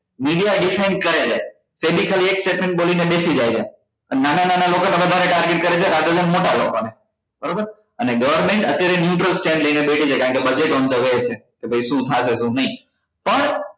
Media defined કરે છે એક statement ખોલી ને બેસી જાય છે અને નાન નાના લોકો ને વધારે target કરે છે અને લાગે છે મોટા લોકો ને બરોબર અને government અત્યારે news નો trend લઈ ને બેઠી છે કે કારણ કે budget on the way છે કે ભાઈ શુ થશે શુ નહી પણ